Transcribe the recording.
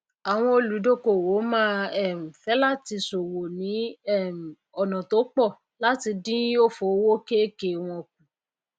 àwọn olùdókòwò máá um fé é láti sòwò ní um ònà tó pò làti dín òfò òwò ké è ké wọn kù